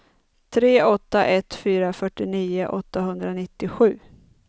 tre åtta ett fyra fyrtionio åttahundranittiosju